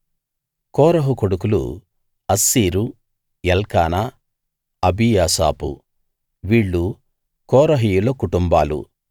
కోరహు కొడుకులు అస్సీరు ఎల్కానా అబీయాసాపు వీళ్ళు కోరహీయుల కుటుంబాలు